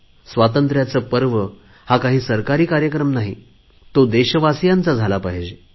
स्वातंत्र्याचे पर्व हा काही सरकारी कार्यक्रम नाही तो देशवासीयांचा झाला पाहिजे